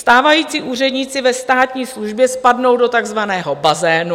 Stávající úředníci ve státní službě spadnou do takzvaného bazénu.